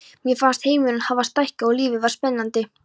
Mér fannst heimurinn hafa stækkað og lífið varð spennandi.